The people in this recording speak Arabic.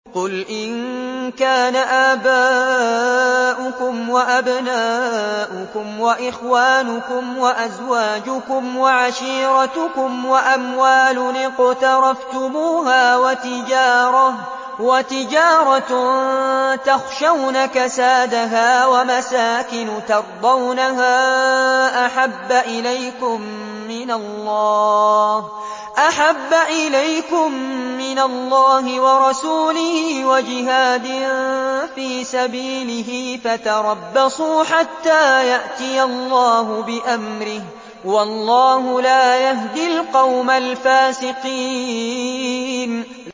قُلْ إِن كَانَ آبَاؤُكُمْ وَأَبْنَاؤُكُمْ وَإِخْوَانُكُمْ وَأَزْوَاجُكُمْ وَعَشِيرَتُكُمْ وَأَمْوَالٌ اقْتَرَفْتُمُوهَا وَتِجَارَةٌ تَخْشَوْنَ كَسَادَهَا وَمَسَاكِنُ تَرْضَوْنَهَا أَحَبَّ إِلَيْكُم مِّنَ اللَّهِ وَرَسُولِهِ وَجِهَادٍ فِي سَبِيلِهِ فَتَرَبَّصُوا حَتَّىٰ يَأْتِيَ اللَّهُ بِأَمْرِهِ ۗ وَاللَّهُ لَا يَهْدِي الْقَوْمَ الْفَاسِقِينَ